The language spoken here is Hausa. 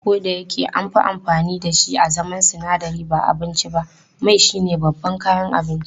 Kodayake anfi amfani dashi a zaman sinadari ba abinci ba, mai shine babban kayan abinci.